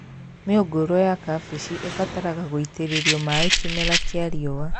Mĩũngũrwa ya kambĩji ĩbataraga gũitĩrĩrio maĩ kĩmera kĩa riũa